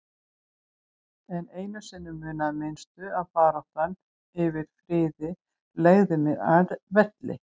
En einu sinni munaði minnstu að baráttan fyrir friði legði mig að velli.